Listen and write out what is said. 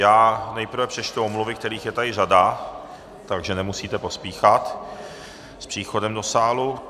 Já nejprve přečtu omluvy, kterých je tady řada, takže nemusíte pospíchat s příchodem do sálu.